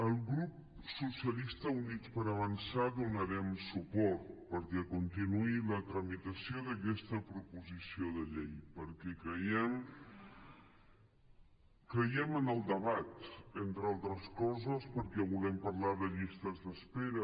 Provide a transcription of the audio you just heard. el grup socialistes i units per avançar donarem suport perquè continuï la tramitació d’aquesta proposició de llei perquè creiem en el debat entre altres coses perquè volem parlar de llistes d’espera